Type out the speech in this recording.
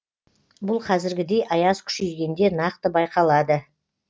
бұл қазіргідей аяз күшейгенде нақты байқалады